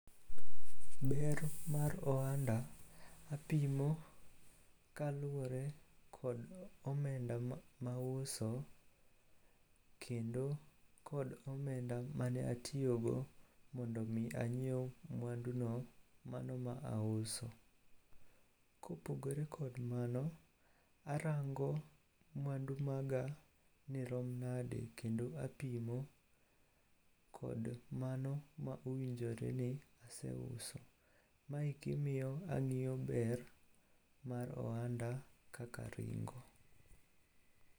Ber mar ohanda apimo kaluwore kod omenda mauso kendo kod omenda mane atiyogo mondo omi anyiew mwanduno mano ma auso. Kopogore kod mano, arango mwandu maga ni rom nade kendo apimo kod mano ma owinjore ni aseuso. Maeki miyo ang'iyo ber mar ohanda kaka ringo.